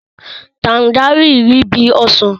tanjaríìnì rí bí ọsàn.